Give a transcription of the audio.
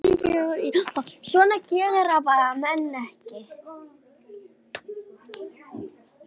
Svona gera menn bara ekki.